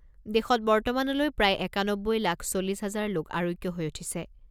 দেশত বৰ্তমানলৈ প্ৰায় একানব্বৈ লাখ চল্লিছ হাজাৰ লোক আৰোগ্য হৈ উঠিছে।